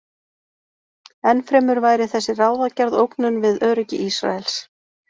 Enn fremur væri þessi ráðagerð ógnun við öryggi Ísraels.